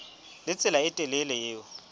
le tsela e telele eo